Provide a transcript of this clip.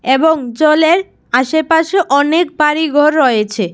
এবং জলের আশেপাশে অনেক বাড়ি ঘর রয়েছে।